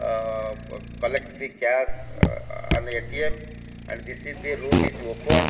ah collect the cash and atm and this is the room is open.